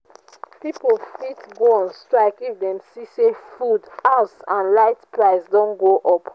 pipo fit go on strike if dem see say food house and light prices don go up